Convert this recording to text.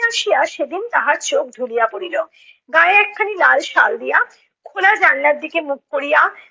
আসিয়া সেদিন তাহার চোখ ঢুলিয়া পড়িলো। গায়ে একখানি লাল শাল দিয়া, খোলা জানলার দিকে মুখ করিয়া